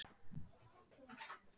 Voru rétt hjá